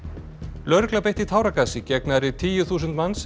lögregla beitti táragasi gegn nærri tíu þúsund manns sem